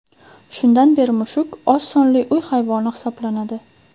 Shundan beri mushuk oz sonli uy hayvoni hisoblanadi.